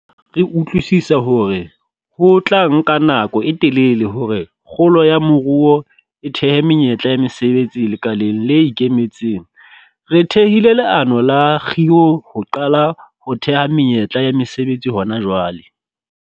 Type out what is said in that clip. Re utlwisisa hore ho tla nka nako e telele hore kgolo ya moruo e thehe menyetla ya mesebetsi lekaleng le ikemetseng, re thehile leano la kgiro ho qala ho theha menyetla ya mesebetsi hona jwale.